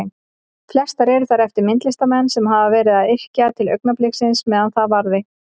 Flestar eru þær eftir myndlistarmenn sem hafa verið að yrkja til augnabliksins meðan það varði.